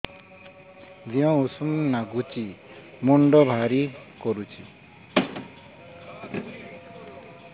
ଦିହ ଉଷୁମ ନାଗୁଚି ମୁଣ୍ଡ ଭାରି କରୁଚି